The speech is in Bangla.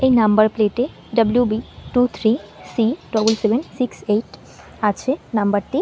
এই নাম্বার প্লেট এ W B two three C double seven six eight আছে নাম্বার টি--